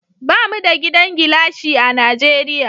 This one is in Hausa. Bamu da gidan gilashi a Najeriya